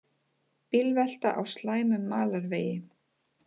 Bílvelta á slæmum malarvegi